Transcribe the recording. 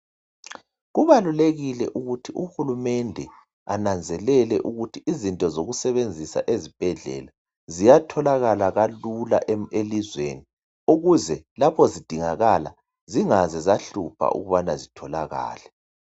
Kubalulekile ukuthi uhulumende ananzelele ukuthi izinto zokusebenzisa ezibhedlela ziyatholakala kalula elizweni ukuze lapho zidingakala zingaze zahlupha ukubana zitholakale.